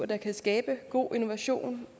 der kan skabe god innovation